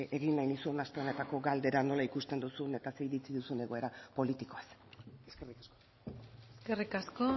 egin nahi nizun aste honetako galdera nola ikusten duzun eta ze iritzi dugun egoera politikoaz eskerrik asko